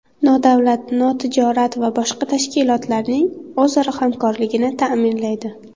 nodavlat notijorat va boshqa tashkilotlarning o‘zaro hamkorligini taʼminlaydi.